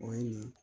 O ye